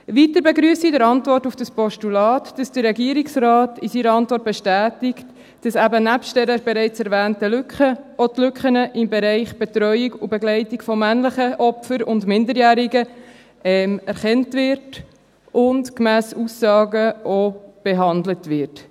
Weiter begrüsse ich in der Antwort auf dieses Postulat, dass der Regierungsrat in seiner Antwort bestätigt, dass eben neben dieser bereits erwähnten Lücke auch die Lücken im Bereich Betreuung und Begleitung von männlichen Opfern und Minderjährigen erkannt und gemäss Aussagen auch behandelt werden.